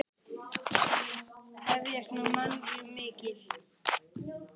Þín systa, Guðný Ruth.